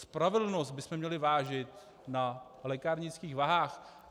Spravedlnost bychom měli vážit na lékárnických vahách.